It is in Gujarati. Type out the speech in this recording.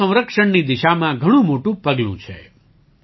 તે જળ સંરક્ષણની દિશામાં ઘણું મોટું પગલું છે